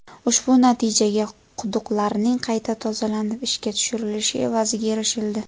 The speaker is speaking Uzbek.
Ushbu natijaga quduqlarning qayta tozalanib, ishga tushirilishi evaziga erishildi.